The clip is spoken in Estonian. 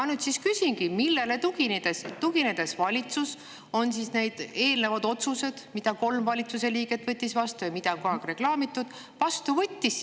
Ma nüüd siis küsingi: millele tuginedes valitsus need otsused, mis kolm valitsuse liiget tegid ja mida on kogu aeg reklaamitud, vastu võttis?